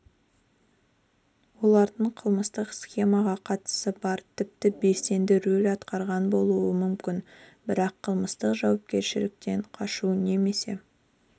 олардың қылмыстық схемаға қатысы бар тіпті белсенді рөл атқарған болуы мүмкін бірақ қылмыстық жауапкершіліктен қашу немесе